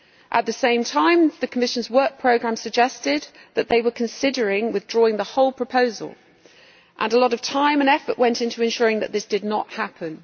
At the same time, the Commission's Work Programme suggested that they were considering withdrawing the whole proposal, and a lot of time and effort went into ensuring that this did not happen.